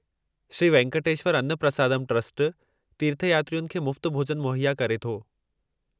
Shri Venkateswara Anna Prasadam trust तीर्थयात्रियुनि खे मुफ़्त भोज॒न मुहैया करे थो।